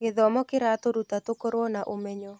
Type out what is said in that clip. Gĩthomo kĩratũtua tũkorwo na ũmenyo.